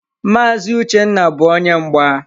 Maazi Uchenna bu onye mgba.